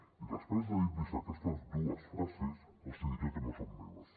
i després de dir los aquestes dues frases els diré que no són meves